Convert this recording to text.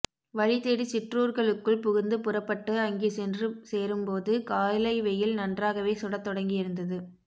வழிதேடி சிற்றூர்களுக்குள் புகுந்துபுறப்பட்டு அங்கே சென்றுசேரும்போது காலைவெயில் நன்றாகவே சுடத்தொடங்கியிருந்தது